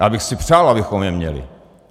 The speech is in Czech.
Já bych si přál, abychom je měli.